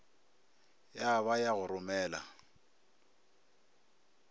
ya ba ya go romela